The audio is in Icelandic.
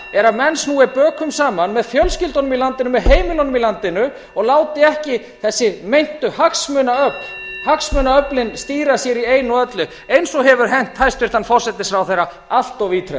er að menn snúi bökum saman með fjölskyldunum í landinu með heimilunum í landinu og láti ekki þessi meintu hagsmunaöfl hagsmunaöfl stýra sér í einu og öllu eins og hefur hent hæstvirtur forsætisráðherra allt ítrekað